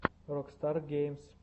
рокстар геймс